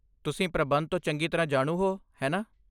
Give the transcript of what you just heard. ਤੁਸੀਂ ਪ੍ਰਬੰਧ ਤੋਂ ਚੰਗੀ ਤਰ੍ਹਾਂ ਜਾਣੂ ਹੋ, ਹੈ ਨਾ?